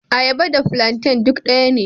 Ayaba da plantain duk daya ne..